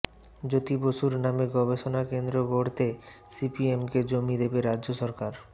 জ্যোতি বসুর নামে গবেষণাকেন্দ্র গড়তে সিপিএমকে জমি দেবে রাজ্য সরকার